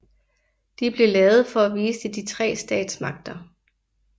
De blev lavet for at vise de tre statsmagter